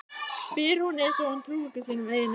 spyr hún eins og hún trúi ekki sínum eigin eyrum.